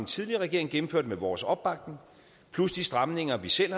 tidligere regering gennemførte med vores opbakning plus de stramninger vi selv